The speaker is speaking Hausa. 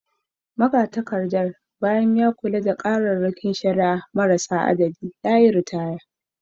Magatakardar, bayan da ya kula da kararrakin shari’a marasa adadi, ya yi ritaya